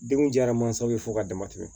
Denw jara mansaw ye fo ka dama tɛmɛ